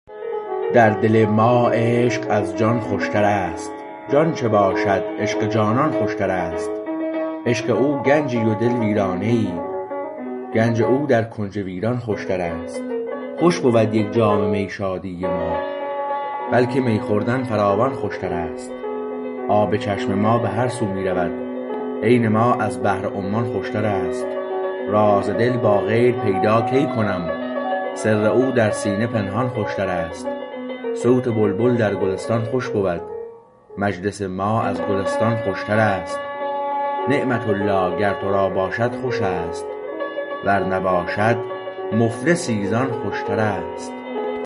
در دل ما عشقش از جان خوشتر است جان چه باشد عشق جانان خوشتر است عشق او گنجی و دل ویرانه ای گنج او در کنج ویران خوشتر است خوش بود یک جام می شادی ما بلکه می خوردن فراوان خوشتر است آب چشم ما بهر سو می رود عین ما از بحر عمان خوشتر است راز دل با غیر پیدا کی کنم سر او در سینه پنهان خوشتر است صوت بلبل در گلستان خوش بود مجلس ما از گلستان خوشتر است نعمت الله گر تو را باشد خوش است ور نباشد مفلسی زان خوشتر است